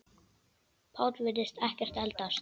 Páll virðist ekkert eldast.